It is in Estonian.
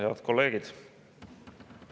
Head kolleegid!